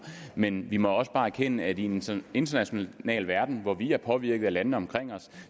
men vi må også bare erkende at i en international verden hvor vi er påvirket af landene omkring os